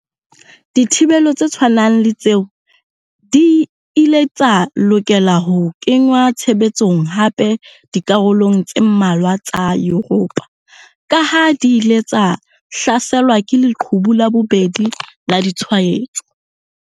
Dithibelo tse tshwanang le tseo di ile tsa lokela ho kenngwa tshebetsong hape dikarolong tse mmalwa tsa Yuropa kaha di ile tsa hlaselwa ke 'leqhubu la bobedi' la ditshwaetso.